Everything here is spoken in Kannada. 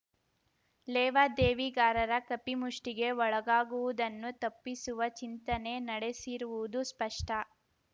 ಲೇವಾದೇವಿಗಾರರ ಕಪಿಮುಷ್ಠಿಗೆ ಒಳಗಾಗುವುದನ್ನು ತಪ್ಪಿಸುವ ಚಿಂತನೆ ನಡೆಸಿರುವುದು ಸ್ಪಷ್ಟ